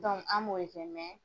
an b'o de kɛ.